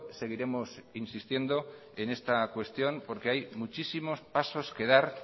seguiremos insistiendo en esta cuestión porque hay muchísimos pasos que dar